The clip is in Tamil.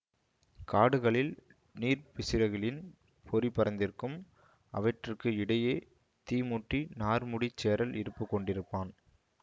காடுகளில் நீர்ப்பிசிர்களின் பொறி பரந்திருக்கும் அவற்றிற்கு இடையே தீ மூட்டி நார்முடிச் சேரல் இருப்புக் கொண்டிருப்பான்